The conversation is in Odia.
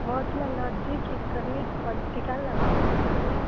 ମୋର ଥିଲା logic, economic, political, optional Odia.